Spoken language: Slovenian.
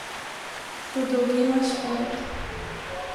Kot dolginast škrat.